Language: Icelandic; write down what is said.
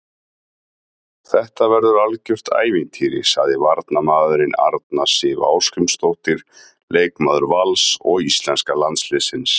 Þetta verður algjört ævintýri, sagði varnarmaðurinn, Arna Sif Ásgrímsdóttir leikmaður Vals og íslenska landsliðsins.